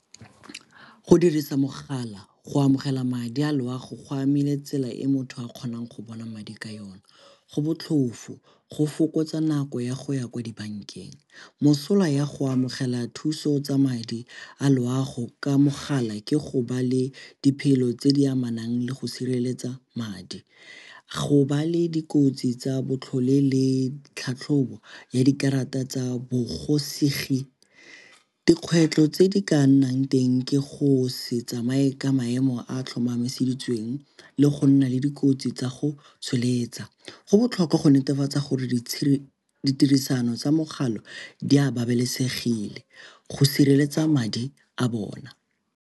Go dirisa mogala go amogela madi a loago go amile tsela e motho a kgonang go bona madi ka yone. Go botlhofo, go fokotsa nako ya go ya kwa dibankeng. Mosola ya go amogela thuso tsa madi a loago ka mogala ke go ba le di tse di amanang le go sireletsa madi. Go ba le dikotsi tsa botlhole le tlhatlhobo ya dikarata tsa . Dikgwetlho tse di ka nnang teng ke go se tsamaye ka maemo a a tlhomamiseditsweng le go nna le dikotsi tsa go tsholetsa. Go botlhokwa go netefatsa gore ditirisano tsa mogala di a babalesegile go sireletsa madi a bona.